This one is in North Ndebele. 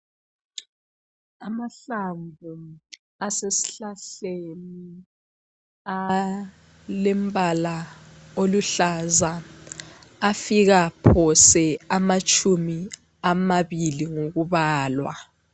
Amahlamvu asesihlahleni alombala oluhlaza afika phose amatshumi amabili ngokubalwa.